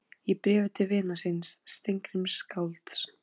Í bréfi til vinar síns, Steingríms skálds